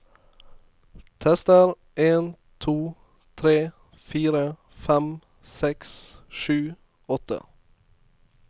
Tester en to tre fire fem seks sju åtte